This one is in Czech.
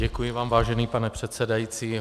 Děkuji vám, vážený pane předsedající.